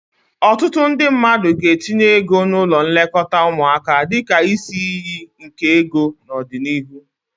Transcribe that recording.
Ọtụtụ ndị mmadụ ga-etinye ego n'ụlọ nlekọta ụmụaka dịka isi iyi nke ego n'ọdịnihu.